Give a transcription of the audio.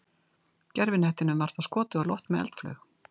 Gervihnettinum var þá skotið á loft með eldflaug.